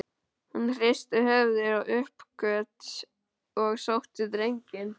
Hún hristi höfuðið í uppgjöf og sótti drenginn.